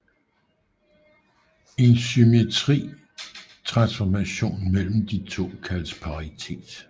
En symmetri transformation mellem de to kaldes paritet